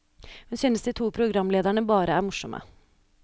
Hun synes de to programlederne bare er morsomme.